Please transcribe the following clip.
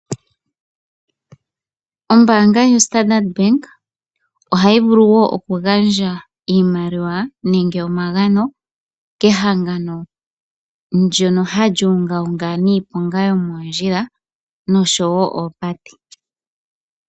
Ombaanga yo Standard Bank ohayi vulu wo okugandja iimaliwa nenge omagano, kehangano ndoka hali ungaunga niiponga yo moondjila noshowo oopate.